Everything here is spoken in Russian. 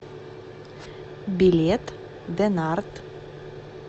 билет дэнарт